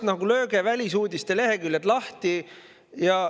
No lööge korraks välisuudiste leheküljed lahti.